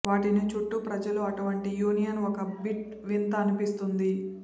వాటిని చుట్టూ ప్రజలు అటువంటి యూనియన్ ఒక బిట్ వింత అనిపించింది